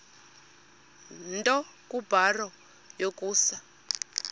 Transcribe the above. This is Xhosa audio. nto kubarrow yokusa